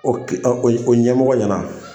ɔn o ɲɛmɔgɔ ɲɛna .